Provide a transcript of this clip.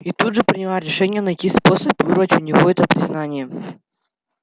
и тут же приняла решение найти способ вырвать у него это признание